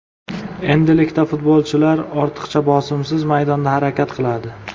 Endilikda futbolchilar ortiqcha bosimsiz maydonda harakat qiladi.